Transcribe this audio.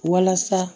Walasa